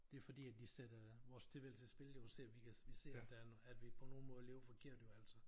Det fordi at de sætter vores tilværelse i spil jo ser vi kan vi ser at der er at vi på nogle måder lever forkert jo altså